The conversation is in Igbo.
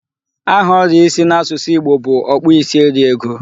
Aha oria isi n'asusu Igbo bụ okpuisieriego.